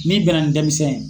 N'i bɛnna ni denmisɛn ye